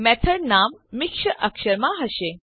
method નામ મિશ્ર અક્ષરોમાં હશે